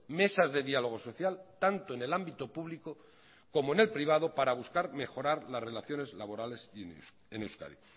mesas de diálogo social tanto en el ámbito público como en el privado para buscar mejorar las relaciones laborales en euskadi